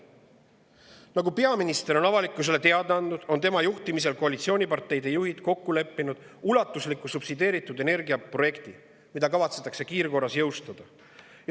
Nagu peaminister on avalikkusele teada andnud, on tema juhtimisel koalitsiooniparteide juhid kokku leppinud ulatusliku subsideeritud energia projekti, mida kavatsetakse kiirkorras jõustada.